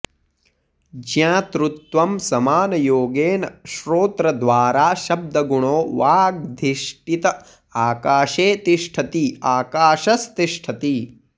ज्ञातृत्वं समानयोगेन श्रोत्रद्वारा शब्दगुणो वागधिष्ठित आकाशे तिष्ठति आकाशस्तिष्ठति